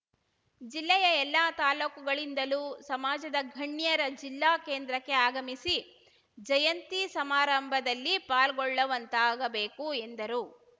ಜಿಲ್ಲೆಯ ಎಲ್ಲ ತಾಲೂಕು ಗಳಿಂದಲೂ ಸಮಾಜದ ಗಣ್ಯರ ಜಿಲ್ಲಾ ಕೇಂದ್ರಕ್ಕೆ ಆಗಮಿಸಿ ಜಯಂತಿ ಸಮಾರಂಭದಲ್ಲಿ ಪಾಲ್ಗೊಳ್ಳುವಂತಾಗಬೇಕು ಎಂದರು